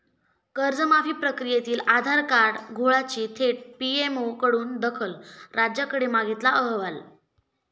कर्जमाफी प्रकियेतील आधार कार्ड घोळाची थेट 'पीएमओ'कडून दखल, राज्याकडे मागितला अहवाल